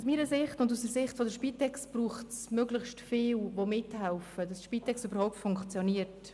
Aus meiner Sicht und aus Sicht der Spitex braucht es möglichst viele Akteure, die mithelfen, damit die Spitex überhaupt funktioniert.